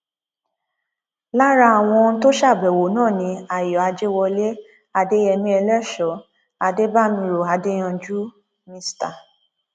lára àwọn tó ṣàbẹwò náà ni ayọ àjẹwọlẹ adéyẹmi eléso adébàmíró adéyanjú mr